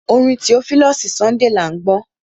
Orin Theophilus Sunday à ń gbọ́.